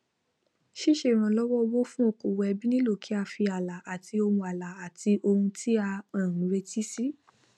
síse ìrànlówó owó fún okòwò ẹbí nílò kí á fi alà àtì ohun alà àtì ohun tí a um retí síi